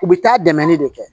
U bɛ taa dɛmɛ de kɛ